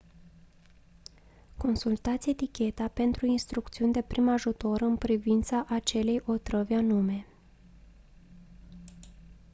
consultați eticheta pentru instrucțiuni de prim ajutor în privința acelei otrăvi anume